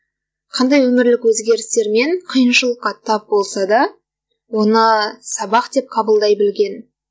қандай өмірлік өзгерістер мен қиыншылыққа тап болса да оны сабақ деп қабылдай білген